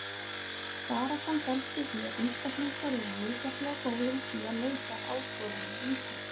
Baráttan felst í því að einstaklingar eru misjafnlega góðir í því að leysa áskoranir lífsins.